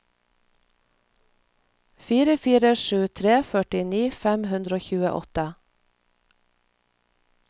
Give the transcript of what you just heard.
fire fire sju tre førtini fem hundre og tjueåtte